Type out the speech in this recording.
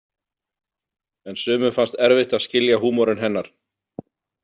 En sumum fannst erfitt að skilja húmorinn hennar.